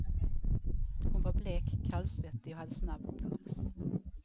Hon var blek, kallsvettig och hade snabb puls.